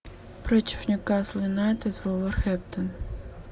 против ньюкасл юнайтед вулверхэмптон